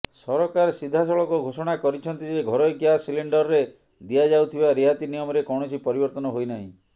ସରକାର ସିଧାସଳଖ ଘୋଷଣା କରିଛନ୍ତି ଯେ ଘରୋଇ ଗ୍ୟାସ ସିଲିଣ୍ଡରରେ ଦିଆଯାଉଥିବା ରିହାତି ନିୟମରେ କୌଣସି ପରିବର୍ତ୍ତନ ହୋଇନାହିଁ